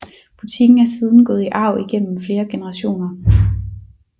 Butikken er siden gået i arv igennem flere generationer